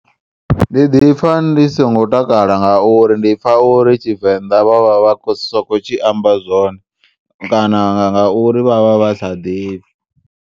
Ndi ḓipfa ndi songo takala ngauri ndipfa uri Tshivenda vha vha vhasokho tshiamba zwone kana ngauri vha vha vha sa ḓivhi.